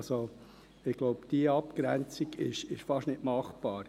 Ich denke, diese Abgrenzung ist fast nicht machbar.